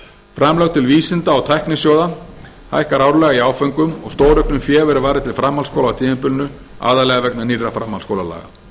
framlög til vísinda og tæknisjóða hækkar árlega í áföngum og stórauknu fé verður varið til framhaldsskóla á tímabilinu aðallega vegna nýrra framhaldsskólalaga